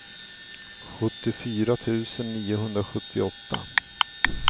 sjuttiofyra tusen niohundrasjuttioåtta